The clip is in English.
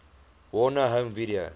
warner home video